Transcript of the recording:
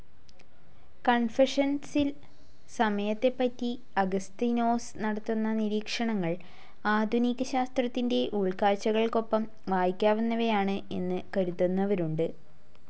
കൺഫെഷൻസിൽ സമയത്തെപ്പറ്റി അഗസ്തീനോസ് നടത്തുന്ന നിരീക്ഷണങ്ങൾ ആധുനിക ശാസ്ത്രത്തിന്റെ ഉൾകാഴ്ചകൾക്കൊപ്പം വയ്ക്കാവുന്നവയാണ് എന്നു കരുതുന്നവരുണ്ട്.